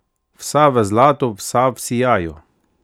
Vsa v zlatu, vsa v sijaju!